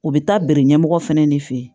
U bɛ taa bɛre ɲɛmɔgɔ fɛnɛ de fɛ yen